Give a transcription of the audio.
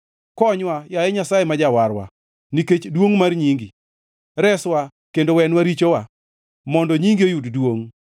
Konywa, yaye Nyasaye ma Jawarwa, nikech duongʼ mar nyingi; reswa kendo wenwa richowa, mondo nyingi oyud duongʼ.